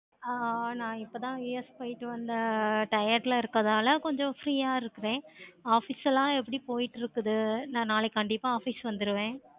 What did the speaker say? ஆஹ் நான் இப்போ தான் US போயிட்டு வந்த tired ல இருக்கனால கொஞ்சம் free ஆஹ் இருக்கிறேன். office எல்லாம் எப்படி போய்கிட்டு இருக்குது. நா நாளைக்கு கண்டிப்பா office வந்துருவேன்.